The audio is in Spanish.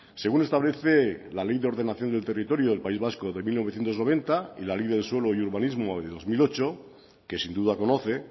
según establece la ley de ordenación del territorio del país vasco de mil novecientos noventa y la ley del suelo y urbanismo de dos mil ocho que sin duda conoce